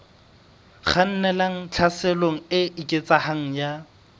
kgannelang tlhaselong e eketsehang ya